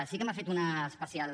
sí que m’ha fet una especial